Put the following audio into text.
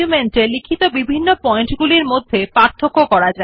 এইভাবে এক নথিতে লিখিত বিভিন্ন পয়েন্ট মধ্যে পার্থক্য করতে পারেন